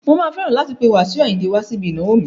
Mà á fẹ́ràn láti pé Wasiu Ayinde wá síbi ìnáwó mi.